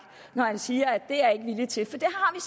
når han siger at det er vi ikke villige til for det har